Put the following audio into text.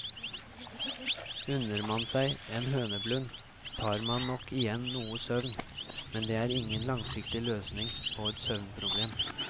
Unner man seg en høneblund, tar man nok igjen noe søvn, men det er ingen langsiktig løsning på et søvnproblem.